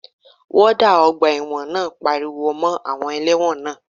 Wọ́ọ́dà ọgbà ẹ̀wọ̀n náà pariwo mọ́ àwọn ẹlẹ́wọ̀n náà